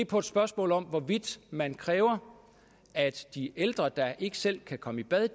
på et spørgsmål om hvorvidt man kræver at de ældre der ikke selv kan komme i bad